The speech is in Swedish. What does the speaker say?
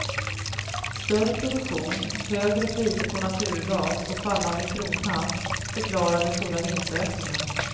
Större produktion, högre priser på naturgas och fallande krona förklarar den stora vinstökningen.